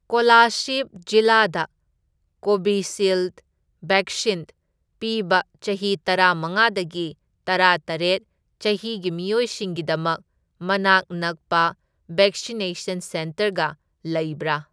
ꯀꯣꯂꯥꯁꯤꯕ ꯖꯤꯂꯥꯗ ꯀꯣꯕꯤꯁꯤꯜꯗ ꯕꯦꯛꯁꯤꯟ ꯄꯤꯕ ꯆꯍꯤ ꯇꯔꯥꯃꯉꯥꯗꯒꯤ ꯇꯔꯥꯇꯔꯦꯠ ꯆꯍꯤꯒꯤ ꯃꯤꯑꯣꯏꯁꯤꯡꯒꯤꯗꯃꯛ ꯃꯅꯥꯛ ꯅꯛꯄ ꯕꯦꯛꯁꯤꯅꯦꯁꯟ ꯁꯦꯟꯇꯔꯒ ꯂꯩꯕ꯭ꯔꯥ?